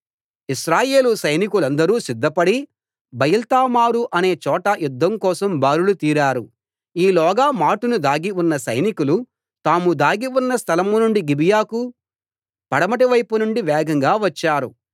ఇశ్రాయేలు సైనికులందరూ సిద్ధపడి బయల్తామారు అనే చోట యుద్ధం కోసం బారులు తీరారు ఈ లోగా మాటున దాగి ఉన్న సైనికులు తాము దాగి ఉన్న స్థలం నుండి గిబియాకు పడమటి వైపునుండి వేగంగా వచ్చారు